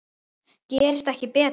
Gerist ekki betra!